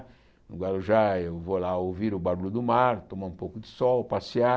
No Guarujá eu vou lá ouvir o barulho do mar, tomar um pouco de sol, passear.